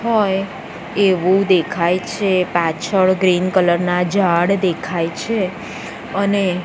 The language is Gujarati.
હોય એવુ દેખાય છે પાછળ ગ્રીન કલર નાં ઝાડ દેખાય છે અને--